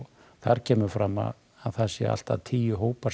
þar kemur fram að þar séu allt að tíu hópar